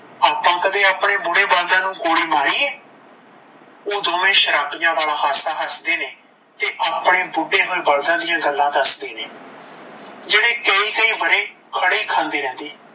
ਆਪਾਂ ਕਦੇ ਆਪਣੇ ਬੂੜੇ ਬਲਦਾ ਨੂੰ ਗੋਲੀ ਮਾਰੀ ਏ ਓਹ ਦੋਵੇਂ ਸ਼ਰਬੀਆ ਵਾਲਾਂ ਹਾਸਾ ਹੱਸਦੇ ਨੇ ਤੇ ਆਪਣੇ ਬੂਡੇ ਹੋਏ ਬਲਦਾਂ ਦਿਆ ਗੱਲਾਂ ਦੱਸਦੇ ਨੇ ਜੇੜੇ ਕਈ ਕਈ ਵਰੇ ਖੜੇ ਹੀ ਖਾਂਦੇ ਰਹਿੰਦੇ